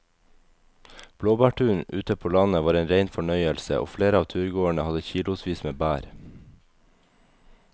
Blåbærturen ute på landet var en rein fornøyelse og flere av turgåerene hadde kilosvis med bær.